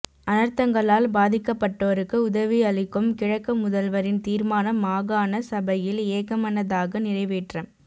அனர்த்தங்களால் பாதிக்கப்பட்டோருக்கு உதவியளிக்கும் கிழக்கு முதல்வரின் தீர்மானம் மாகாண சபையில் ஏகமனதாக நிறைவேற்றம்